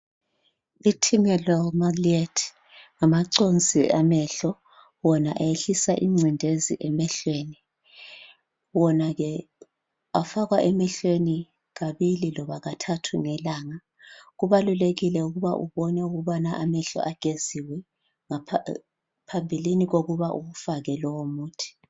iTimalol Maleate ngamathonsiamehlowona ayehlisa emehlweni afakwa emehlweni kabili noma kathathu ngelanga khona kuqakathekile ukuthi amehlo ageziwe ngaphambilini kokuba bakufake lowu muthi